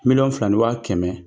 Miliyɔn fila ni wa kɛmɛ